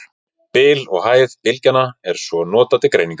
Bil og hæð bylgjanna er svo notað til greiningar.